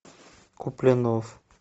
куплинов